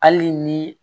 Hali ni